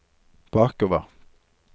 bakover